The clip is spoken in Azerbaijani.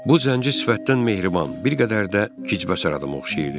Bu zənci sifətdən mehriban, bir qədər də Hıçbəsarıda oxşayırdı.